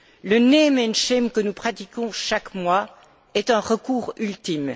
Le que nous pratiquons chaque mois est un recours ultime.